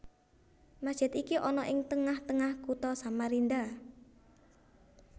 Masjid iki ana ing tengah tengah Kutha Samarinda